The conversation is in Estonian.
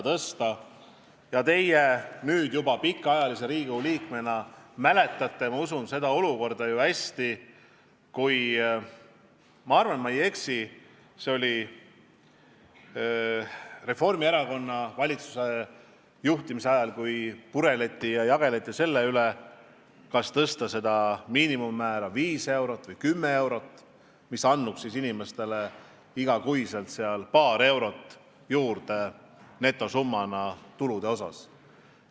Usun, et teie nüüd juba pikaajalise Riigikogu liikmena mäletate seda hästi, kui – arvatavasti ma ei eksi, kui ütlen, et see oli Reformierakonna valitsuse ajal – pureleti ja jageleti teemal, kas tõsta seda miinimummäära 5 eurot või 10 eurot, mis andnuks inimestele igas kuus tulude netosummana paar eurot juurde.